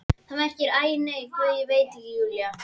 Það merkir, æ nei, Guð, ég veit ekki,- Júlía!